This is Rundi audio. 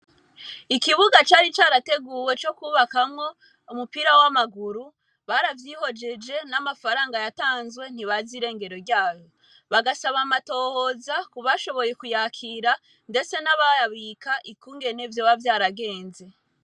Ikibuga cari carateguwe co kubakamwo umupira wa maguru, baravyihojeje n'amafaranga yatanzwe ntibazi irengero ryayo. Bagasaba amatohoza kubashoboye kuyakira, ndetse n'abayabika ikungene vyoba vyaragenze.